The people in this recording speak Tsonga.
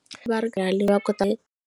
Va ri va kota .